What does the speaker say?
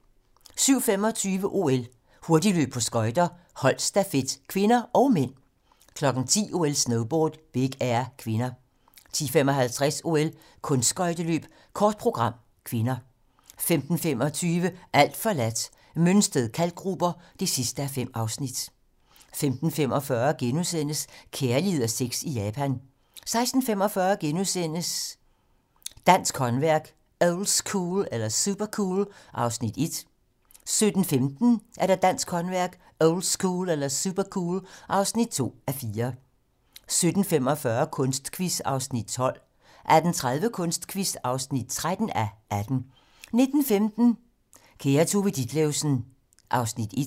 07:25: OL: Hurtigløb på skøjter - holdstafet (k) og (m) 10:00: OL: Snowboard - Big air (k) 10:55: OL: Kunstskøjteløb - kort program (k) 15:25: Alt forladt - Mønsted Kalkgruber (5:5) 15:45: Kærlighed og sex i Japan * 16:45: Dansk håndværk – oldschool eller supercool? (1:4)* 17:15: Dansk håndværk - oldschool eller supercool? (2:4) 17:45: Kunstquiz (12:18) 18:30: Kunstquiz (13:18) 19:15: Kære Tove Ditlevsen (1:6)